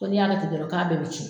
Ko n'i y'a kɛ ten dɔrɔn k'a bɛɛ bɛ cun